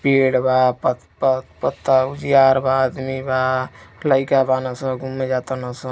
पेड़ बा प प प् त यार बा आदमी बा लइका बाड़न स घूमे जा ताड़न सन।